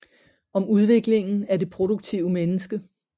Om udviklingen af det produktive menneske